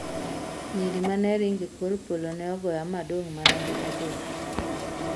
Nyiri ma ne ringo e kor polo ne ogoya ma adong' mana gi adhola.